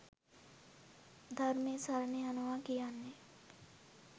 ධර්මය සරණ යනවා කියන්නේ.